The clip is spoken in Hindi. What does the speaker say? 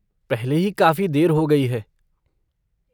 पहले ही काफ़ी देर हो गई है।